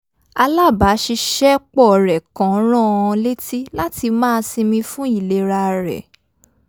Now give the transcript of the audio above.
alábaṣiṣ́ẹpọ̀ rẹ̀ kan rán an létí láti máa sinmi fún ìlera rẹ̀